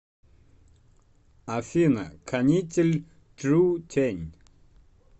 афина канитель трутень